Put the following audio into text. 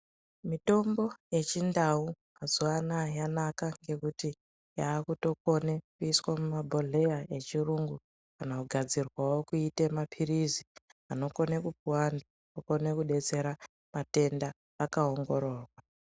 Mitombo yechindau mazuva anaya yanaka ngekuti yakutikone kuiswa mumabhohleya echiyungu. Kana kugadzirwavo kuite maphirizi anokone kupuva vantu anokone kubetsera matenda akaongororwa.